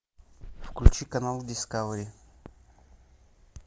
включи канал дискавери